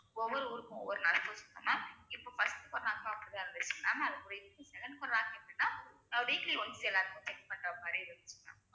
ஒவ்வொரு ஊருக்கும் ஒரு nurse இருப்பாங்க ma'am இப்ப first corona weekly once எல்லாருக்கும் check பண்றமாதிரி இருக்கும் ma'am